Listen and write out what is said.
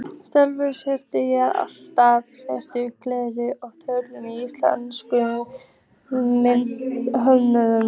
Sjálf hefi ég alltaf sett Gerði ofar öðrum íslenskum myndhöggvurum